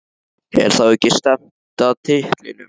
Er þá ekki stefnt að titlinum?